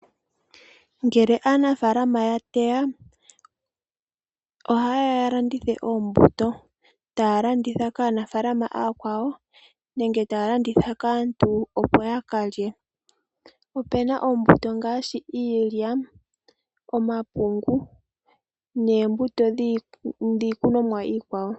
Ngele aanafaalama ya teya, ohaye ya ya landithe oombuto, taya landitha kaanafaalama aakwawo nenge taya landitha kaantu, opo ya ka lye. Opuna oombuto ngaashi iilya, omapungu noombuto dhiikunomwa iikwawo.